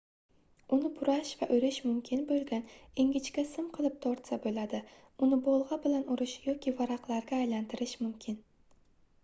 uni burash va oʻrish mumkin boʻlgan ingichka sim qilib tortsa boʻladi uni bolgʻa bilan urish yoki varaqlarga aylantirish mumkin